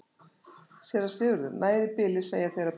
SÉRA SIGURÐUR: Nægir í bili, segja þeir og berja sér til hita.